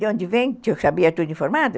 De onde vem que eu sabia tudo informado?